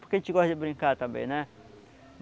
Porque a gente gosta de brincar também, né?